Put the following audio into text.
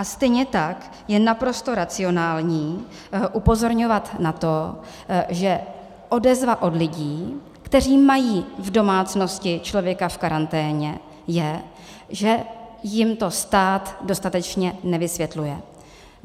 A stejně tak je naprosto racionální upozorňovat na to, že odezva od lidí, kteří mají v domácnosti člověka v karanténě, je, že jim to stát dostatečně nevysvětluje.